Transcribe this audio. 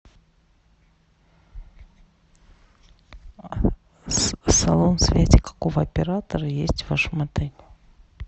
салон связи какого оператора есть в вашем отеле